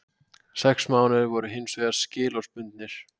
Sex mánuðir voru hins vegar skilorðsbundnir